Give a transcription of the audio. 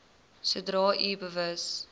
sodra u bewus